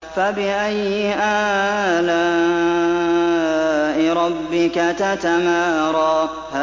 فَبِأَيِّ آلَاءِ رَبِّكَ تَتَمَارَىٰ